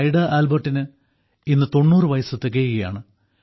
Ida ആൽബർട്ടിന് ഇന്ന് 90 വയസ്സ് തികയുകയാണ്